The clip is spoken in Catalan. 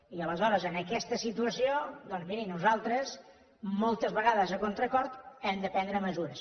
i aleshores en aquesta situació doncs miri nosaltres moltes vegades a contracor hem de prendre mesures